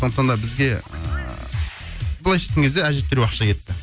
сондықтан да бізге ыыы былайша айтқан кезде әжептеуір ақша кетті